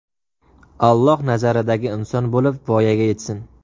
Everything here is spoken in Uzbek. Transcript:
Alloh nazaridagi inson bo‘lib voyaga yetsin!